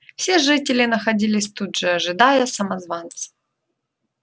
все жители находились тут же ожидая самозванца